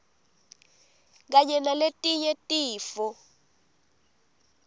kanye naletinye tifo